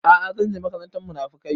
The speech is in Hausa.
A'a zan je makarantar munafukai